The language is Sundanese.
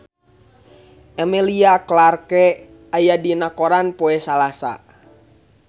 Emilia Clarke aya dina koran poe Salasa